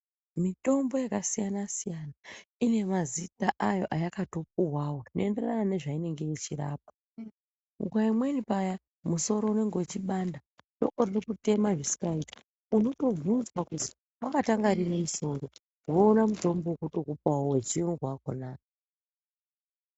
Mitombo yakasiyana-siyana ine mazita ayo ayakatopuvavo zvinoenderana nezvainenge ichirapa. Nguva imweni paya musoro unenge uchibanda hloko riri kutema zvisikaiti. Unotobvunzwa kuzi vakatanga riini musoro voona mutombo vekutokupavo vechiyungu vakona.